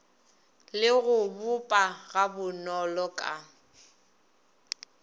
le go boppa gabonolo ka